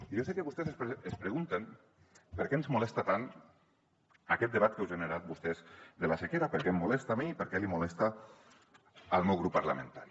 i jo sé que vostès es pregunten per què ens molesta tant aquest debat que han generat vostès de la sequera per què em molesta a mi per què li molesta al meu grup parlamentari